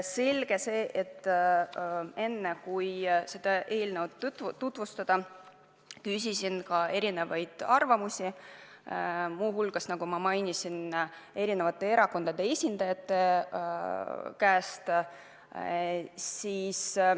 Selge see, et enne kui seda eelnõu tutvustada, ma pidasin vajalikuks paljudelt nende arvamusi küsida, muu hulgas, nagu ma mainisin, eri erakondade esindajate käest.